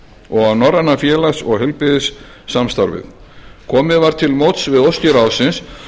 og á norræna félags og heilbrigðissamstarfið komið var til móts við óskir ráðsins